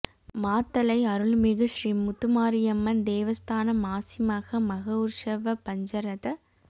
மாத்தளை அருள் மிகு ஸ்ரீ முத்துமாரியம்மன் தேவஸ்தான மாசிமக மகோற்சவ பஞ்சரத